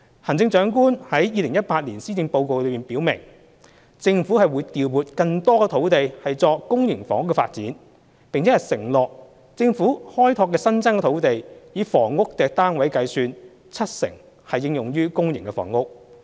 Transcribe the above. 行政長官在2018年施政報告中表明，政府會調撥更多土地作公營房屋發展，並承諾政府開拓的新增土地，以房屋單位計算，七成應用於公營房屋。